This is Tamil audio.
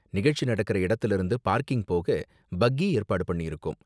நிகழ்ச்சி நடக்குற இடத்துல இருந்து பார்க்கிங் போக பக்கி ஏற்பாடு பண்ணிருக்கோம்.